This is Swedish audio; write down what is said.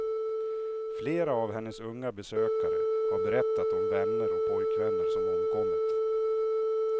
Flera av hennes unga besökare har berättat om vänner och pojkvänner som omkommit.